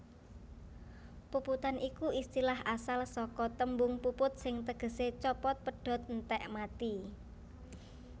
Puputan iku istilah asal saka tembung puput sing tegesé copot pedhot entèk mati